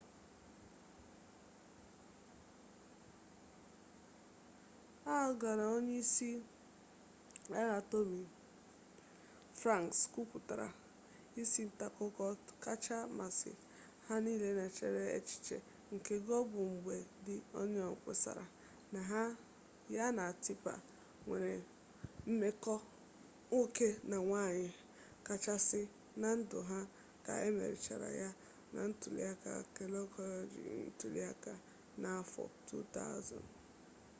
al gọ na onye isi agha tọmi franks kwupụtara isi ntaakụko kacha masị ha n'echebaraghị ya echiche nke gọ bụ mgbe di onịon kpesara na ya na tipa nwere mmekọ nwoke na nwanyị kachasị na ndụ ha ka emerichara ya na ntuliaka kekọleji ntuliaka n'afọ 2000